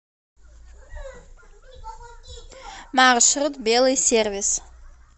маршрут белый сервис